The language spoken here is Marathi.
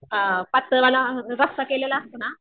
अ पातळ वाला रस्सा केलेला असतो ना